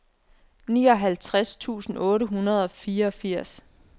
nioghalvtreds tusind otte hundrede og fireogfirs